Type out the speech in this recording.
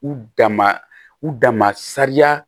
U dama u dama sariya